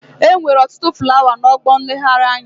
Enwere otutu flawa na ọgbọ nleghari anya.